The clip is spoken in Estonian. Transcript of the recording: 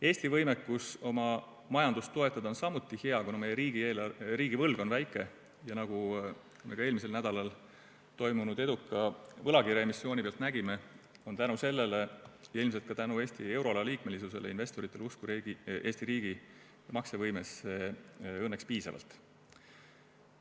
Eesti võimekus oma majandust toetada on samuti hea, kuna meie riigivõlg on väike, ja nagu me ka eelmisel nädalal toimunud eduka võlakirjaemissiooni pealt nägime, tänu sellele ja ilmselt ka tänu Eesti euroala liikmesusele on investoritel usku Eesti riigi maksevõimesse õnneks piisavalt.